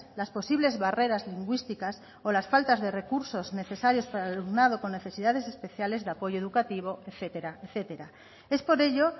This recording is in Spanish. las posibles barreras lingüísticas o las faltas de recursos necesarios para el alumnado con necesidades especiales de apoyo educativo etcétera etcétera es por ello